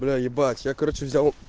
бля ебать я короче взял